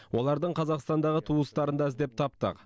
олардың қазақстандағы туыстарын да іздеп таптық